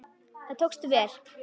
Það tókst vel.